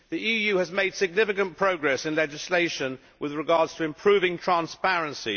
The EU has made significant progress on legislation with regard to improving transparency.